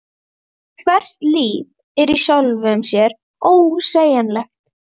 Hvert líf er í sjálfu sér ósegjanlegt.